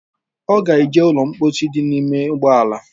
Ọ ga-eje ụlọ mkposi dị n’ime ụgbọala